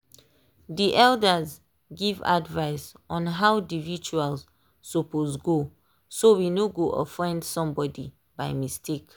dey elders give advice on how dey rituals suppose go so we no go offend somebody by mistake.